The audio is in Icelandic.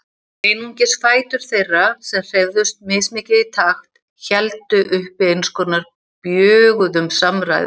Einungis fætur þeirra, sem hreyfðust mismikið í takt, héldu uppi eins konar bjöguðum samræðum.